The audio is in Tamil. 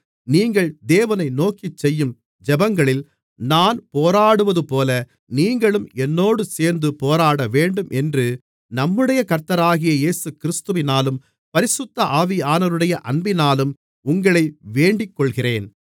நீங்கள் தேவனை நோக்கி செய்யும் ஜெபங்களில் நான் போராடுவதுபோல நீங்களும் என்னோடு சேர்ந்து போராடவேண்டும் என்று நம்முடைய கர்த்தராகிய இயேசுகிறிஸ்துவினாலும் பரிசுத்த ஆவியானவருடைய அன்பினாலும் உங்களை வேண்டிக்கொள்கிறேன்